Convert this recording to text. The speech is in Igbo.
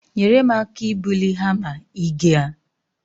Nyere m aka ibuli hama, ị ga-?